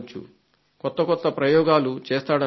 కొత్త కొత్త ప్రయోగాలు చేస్తాడనుకుంటా